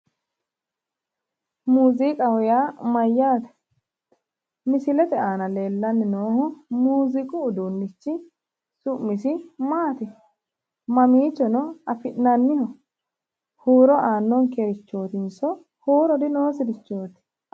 Muziiqaho yaa mayyaate? Misilete aana leellanni noohu muuziiqu uduunnichi su'misi maati? Mamiichono afi'nanniho? Huuro aannonkerichootinso huuro dinoosirichooti?